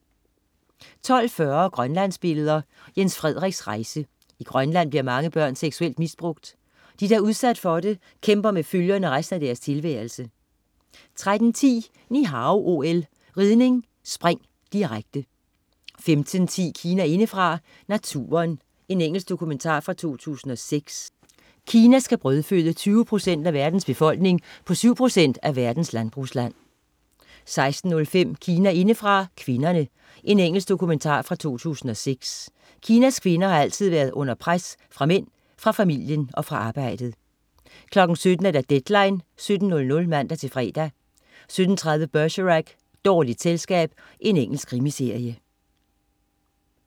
12.40 Grønlandsbilleder. Jens Frederiks rejse. I Grønland bliver mange børn seksuelt misbrugt. De, der er blevet udsat for det, kæmper med følgerne resten af deres tilværelse 13.10 Ni Hao OL: Ridning, spring, direkte 15.10 Kina indefra: Naturen. Engelsk dokumentar fra 2006. Kina skal brødføde 20 procent af verdens befolkning på syv procent af verdens landbrugsland 16.05 Kina indefra: Kvinderne. Engelsk dokumentar fra 2006. Kinas kvinder har altid været under pres, fra mænd, fra familien og fra arbejdet 17.00 Deadline 17.00 (man-fre) 17.30 Bergerac: Dårligt selskab. Engelsk krimiserie